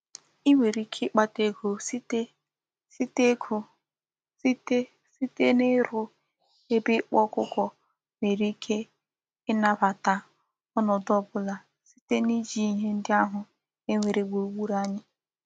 I nwere ike ikpata ego site site ego site site niru ebe ikpa okuko nwere ike inabata onodu obula site n'iji ihe ndi ahu e nwere gburu gburu anyi.